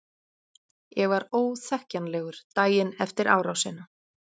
Ég var óþekkjanlegur daginn efir árásina.